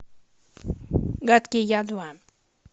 гадкий я два